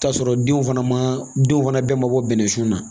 T'a sɔrɔ denw fana ma denw fana bɛɛ mabɔ bɛnɛsun na